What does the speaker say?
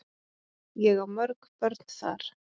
Ég á mörg börn þar.